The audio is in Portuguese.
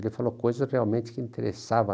Ele falou coisas realmente que interessava.